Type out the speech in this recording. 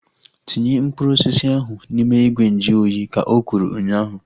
Tinye mkpụrụ osisi ahu n'ime ìgwè nju oyi! Ka o kwuru ụnyaahụ